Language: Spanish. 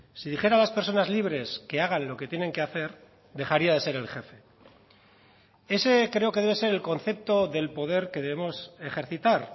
si dijera a las personas libres que hagan lo que tienen que hacer dejaría de ser el jefe ese creo que debe ser el concepto del poder que debemos ejercitar